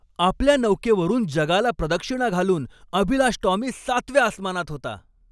आपल्या नौकेवरून जगाला प्रदक्षिणा घालून अभिलाष टॉमी सातव्या आसमानात होता.